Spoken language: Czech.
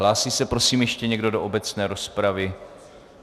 Hlásí se prosím ještě někdo do obecné rozpravy?